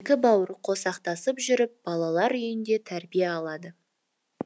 екі бауыр қосақтасып жүріп балалар үйінде тәрбие алады